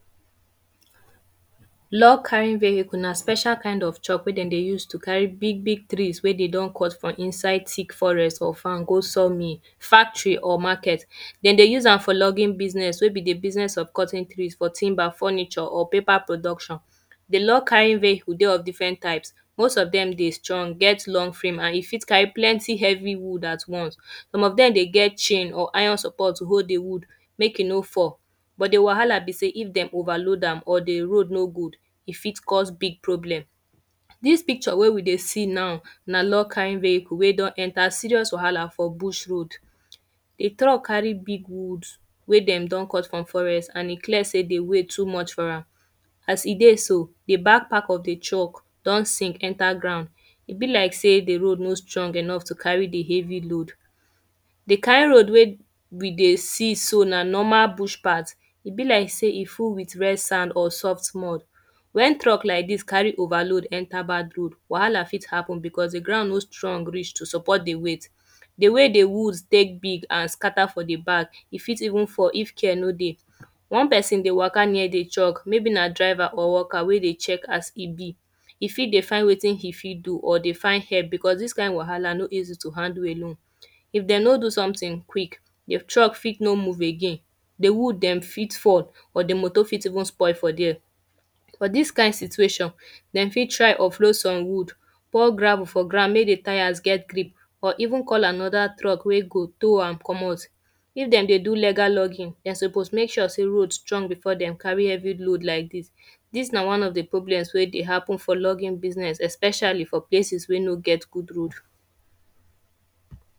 Log kind vehicle na special kind of job wey dem dey use to carry big big trees wey dem don cut for inside thick forest for farm go saw mill, factory or market. Den dey use am for logging business wey be the business of cutting trees for timber, furniture or paper production. The log kind vehicle dey of different type. Most of dem dey strong, get long frame and e fit carry plenty wood at once. Some of dem dey get chain or iron support to hold the wood make e no fall. But the wahala be sey, if de overload am or the rope no good, e fit cause big problem. Dis picture wey we dey see now na log kind vehicle wey don enter serious wahala for bush road. The truck carry big wood wey dem don cut for forest and e clear sey the weight too much for am. As e dey so, the back part of the truck don sink enter ground. E be like sey the road no strong enough to carry the heavy load. The kind road wey we dey see so na normal bush part. E be like sey e full with red sand or soft mud. When truck like dis carry overload enter bad road, wahala fit happen because the ground no strong reach to support the weight. The ways the woods take be and scatter for the back, e fit even fall if care no dey. One person dey waka near the truck, maybe na driver or worker wey dey check as e be. E fit dey find wetin e fit do or dey find help because dis kind wahala no easy to handle alone. If dey no do something quick, the truck fit no move again. The wood dem fit fall or the motor fit even spoil for dere. For dis kind situation, dem fit try offload some woods, pour gravel for ground make the tyres get grip or even call another truck wey go toll am comot. If dem dey do legal logging dem suppose make sure sey road strong before dem carry heavy load like dis. Dis na one of the problems wey dey happen for logging business especially for place wey no get good road.